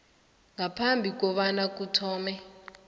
ngaphambi kobana kuthome